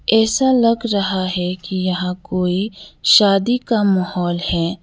ऐसा लग रहा है कि यहां कोई शादी का माहौल है।